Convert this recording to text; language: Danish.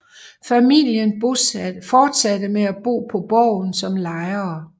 Familien fortsatte med at bo på borgen som lejere